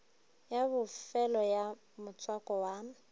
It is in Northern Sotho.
ya bofelo ya motswako wa